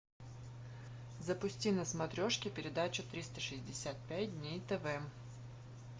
запусти на смотрешке передачу триста шестьдесят пять дней тв